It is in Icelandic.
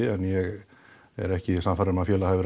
en ég er ekki sannfærður um að félagið hafi